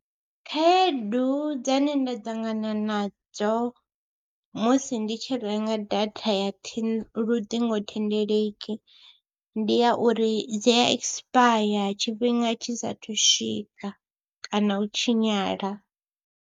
Khaedu dzine nda ṱangana nadzo musi ndi tshi renga data ya ṱhingo luṱingothendeleki ndi ya uri dzi ekisipaya tshifhinga tshi saathu swika kana u tshinyala.